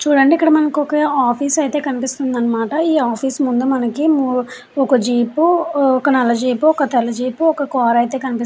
చూడండి ఇక్కడ మనకు ఒక ఆఫీస్ అయితే కనిపిస్తుంది అనమాట. ఈ ఆఫీస్ ముందు మనకి ఒక జీపు ఒక నాలుగు జీపు ఒక తెల జీపు ఒక కూర అయితే కనిపి --